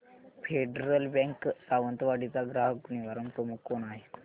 federal Bank Sawantwadi चा ग्राहक निवारण प्रमुख कोण आहे